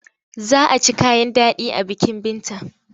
Za a ci kayan daɗi a bikin Binta.